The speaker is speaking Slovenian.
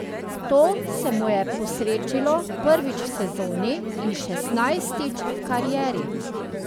To se mu je posrečilo prvič v sezoni in šestnajstič v karieri.